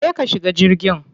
Je ka shiga jirgin.